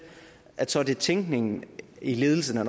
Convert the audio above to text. så det er tænkningen i ledelsen af